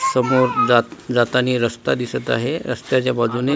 समोर जातानी रस्ता दिसत आहे रस्त्याच्या बाजूने--